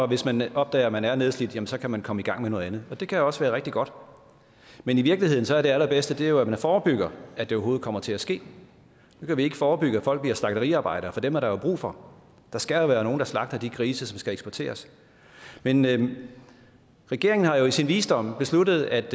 hvis man opdager at man er nedslidt så kan man komme i gang med noget andet det kan også være rigtig godt men i virkeligheden er det allerbedste jo at man forebygger at det overhovedet kommer til at ske nu kan vi ikke forebygge at folk bliver slagteriarbejdere for dem er der brug for der skal jo være nogle der slagter de grise som skal eksporteres men men regeringen har i sin visdom besluttet at